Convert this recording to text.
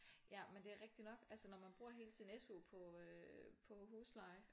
Ja men det er rigtig nok altså når man bruger hele sin SU på øh på husleje